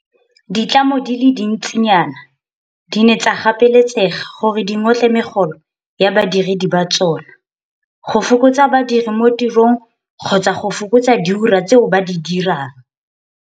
Ditlamo di le dintsinyana di ne tsa gapeletsega gore di ngotle megolo ya badiredi ba tsona, go fokotsa badiri mo tirong kgotsa go fokotsa diura tseo ba di dirang.